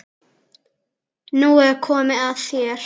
Nú er komið að þér.